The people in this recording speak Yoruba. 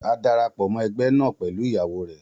A darapọ mọ egbe naa pẹlu iyawo rẹ